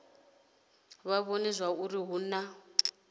vha vhone zwauri hu na